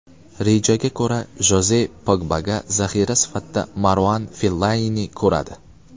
Rejaga ko‘ra Joze Pogbaga zaxira sifatida Maruan Fellainini ko‘radi.